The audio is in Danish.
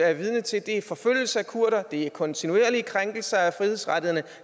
er vidner til er forfølgelse af kurdere det er kontinuerlige krænkelser af frihedsrettighederne